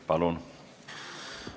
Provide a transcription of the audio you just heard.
Palun!